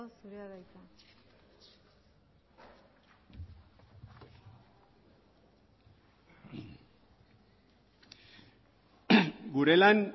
zurea da hitza gure lan